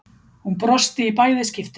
Hún brosti í bæði skiptin.